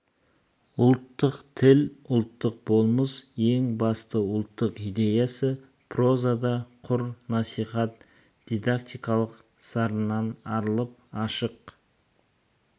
ұлттық тіл ұлттық болмыс ең бастысы ұлттық идеясы прозада құр насихат дидактикалық сарыннан арылып ашық